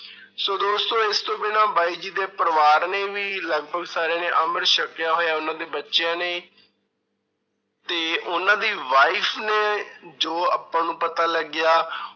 ਸੋ ਦੋਸਤੋ ਇਸ ਤੋਂ ਬਿਨਾਂ ਬਾਈ ਜੀ ਦੇ ਪਰਿਵਾਰ ਨੇ ਵੀ ਲਗਪਗ ਸਾਰਿਆਂ ਨੇ ਅੰਮ੍ਰਿਤ ਛਕਿਆ ਹੋਇਆ ਉਹਨਾਂ ਦੇ ਬੱਚਿਆਂ ਨੇ ਤੇ ਉਹਨਾਂ ਦੀ wife ਨੇ ਜੋ ਆਪਾਂ ਨੂੰ ਪਤਾ ਲੱਗਿਆ